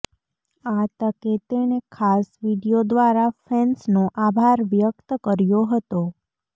આ તકે તેણે ખાસ વીડિયો દ્વારા ફેન્સનો આભાર વ્યક્ત કર્યો હતો